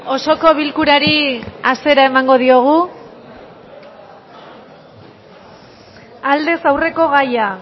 osoko bilkurari hasiera emango diogu aldez aurreko gaia